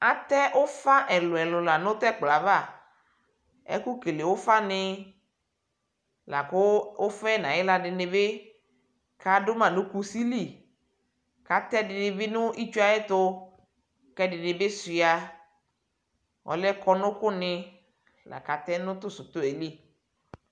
atɛɛ ʋƒa ɛlʋɛlʋ nʋ tɛkpɔava ɛkʋ kele ʋƒani lakʋ ʋƒaɛ nayiɣlaɖibi kaɖʋma nʋ kʋsili katɛ ɛɖɛnibi nʋ itsʋɛtʋ kɛɖinibi shua ɔlɛ imenʋsɛ koni lakatɛ nʋ NA li